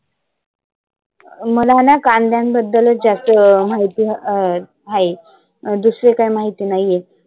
मला ना कांद्यांबद्दल जास्त माहिती अं आहे. दुसरी काही माहिती नाहिए.